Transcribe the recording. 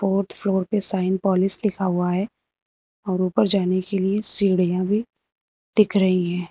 Fourth floor पे साइनपॉलिश लिखा हुआ है और ऊपर जाने के लिए सीढ़ियां भी दिख रही हैं।